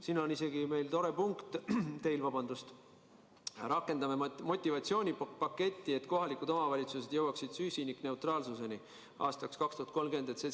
Siin on teil isegi tore punkt: "Rakendame motivatsioonipaketi, et kohalikud omavalitsused jõuaksid süsinikuneutraalsuseni aastaks 2030.